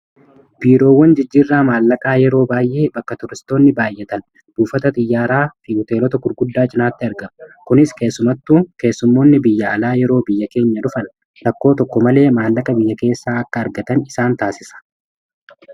Biiroowwan jijjiirraa maallaqaa yeroo baay'ee bakka turistoonni baayyatan buufata xiyyaaraa fi hoteelota gurguddaa cinaatti argama. Kunis keessumattu keessummoonni biyya alaa yeroo biyya keenya dhufan rakkoo tokko malee maallaqa biyya keessaa akka argatan isaan taasisa.